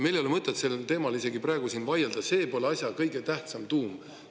Meil ei ole mõtet sellel teemal isegi praegu siin vaielda, see pole asja tuum.